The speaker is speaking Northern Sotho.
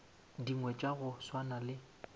dingwe tša go swana le